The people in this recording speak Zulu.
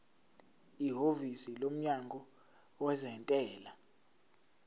ihhovisi lomnyango wezentela